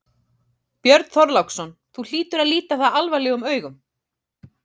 Björn Þorláksson: Þú hlýtur að líta það alvarlegum augum?